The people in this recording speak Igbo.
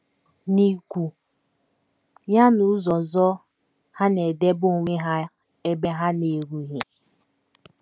N’ikwu ya n’ụzọ ọzọ, ha na - edebe onwe ha ebe ha na - erughị.